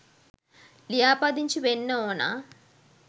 ලියාපදිංචි වෙන්න ඕන.